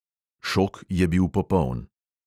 Šok je bil popoln.